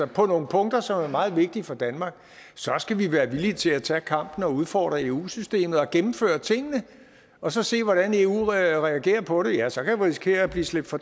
på nogle punkter som er meget vigtige for danmark så skal vi være villige til at tage kampen og udfordre eu systemet og gennemføre tingene og så se hvordan eu reagerer på det ja så kan vi risikere at blive slæbt for